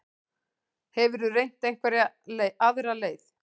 Hefurðu reynt einhverja aðra leið?